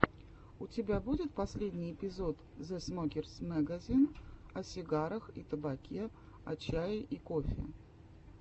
у тебя будет последний эпизод зэ смокерс мэгазин о сигарах и табаке о чае и кофе